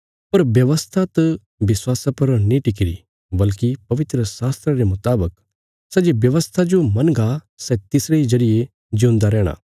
पर व्यवस्था त विश्वासा पर नीं टिक्किरी बल्कि पवित्रशास्त्रा रे मुतावक सै जे व्यवस्था जो मनगा सै तिसरे इ जरिये जिऊंदा रैहणा